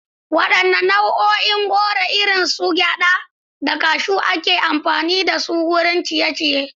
Wadanne nau'in goro, irin su gyada da cashews, ake yawan amfani da su wajen ciye-ciye?